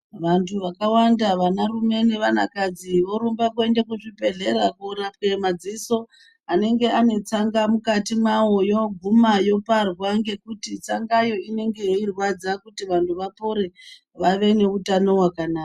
Vantu vakawanda, vanarume nevanakadzi vorumba kuende kuzvibhedhlera korapiwe madziso anenge anetsanga mukati mwawoyo, yoguma yoparwa ngekuti tsangayo inenge yeirwadza kuti vantu vapore, vave neutano hwakanaka.